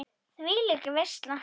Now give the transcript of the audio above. Þvílík veisla.